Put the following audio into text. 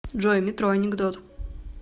джой метро анекдот